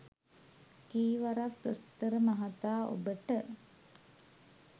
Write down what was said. කී වරක් දොස්තර මහතා ඔබට